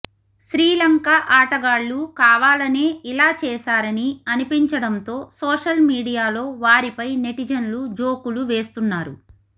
శ్రీలంక ఆటగాళ్లు కావాలనే ఇలా చేశారని అనిపించడంతో సోషల్ మీడియాలో వారిపై నెటిజన్లు జోకులు వేస్తున్నారు